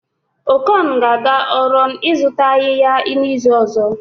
Okon ga-aga Ọrọn ịzụta ayịya n'izu ọzọ